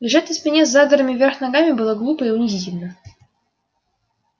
лежать на спине с задранными вверх ногами было глупо и унизительно